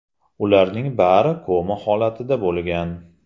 Ularning bari koma holatida bo‘lgan.